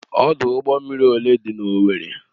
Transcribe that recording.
ọdụ ụgbọ mmiri ole dị n'Owerri?